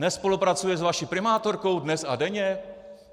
Nespolupracuje s vaší primátorkou dnes a denně?